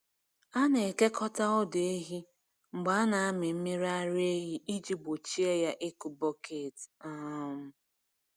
A na-ekekọta ọdụ ehi mgbe a na-amị mmiri ara ehi iji gbochie ya ịkụ bọket. um